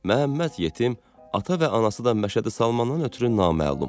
Məhəmməd yetim, ata və anası da Məşədi Salmandan ötrü naməlum.